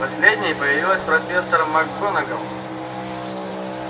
последней появилась профессор макгонагалл